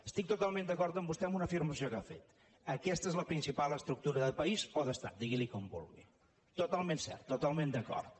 estic totalment d’acord amb vostè amb una afirmació que ha fet aquesta és la principal estructura del país o d’estat diguin ne com vulgui totalment cert totalment d’acord